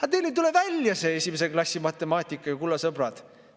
Aga teil ei tule välja see esimese klassi matemaatika ju, kulla sõbrad!